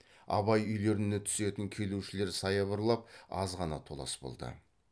абай үйлеріне түсетін келушілер саябырлап азғана толас болды